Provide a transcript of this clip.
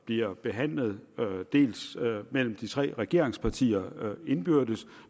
bliver behandlet mellem de tre regeringspartier indbyrdes